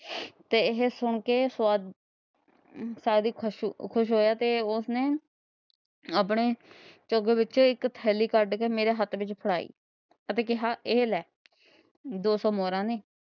ਤਾਂ ਇਹ ਸੁਣ ਕੇ ਖੁਸ਼ ਹੋਇਆ ਤੇ ਉਸ ਨੇ ਆਪਣੇ ਚੁੱਗ ਵਿੱਚੋ ਇੱਕ ਥੈਲੀ ਕੱਢ ਕੇ ਮੇਰੇ ਹੱਥ ਵਿੱਚ ਫੜਾਈ ਅਤੇ ਕਿਹਾ, ਏਹ੍ਹ ਲਹਿ ਦੋ ਸੋ ਮੋਹਰਾ ਨੇ